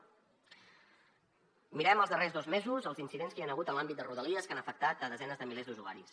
mirem els darrers dos mesos els incidents que hi han hagut en l’àmbit de rodalies que han afectat desenes de milers d’usuaris